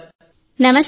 నమస్తే సార్